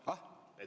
Ah?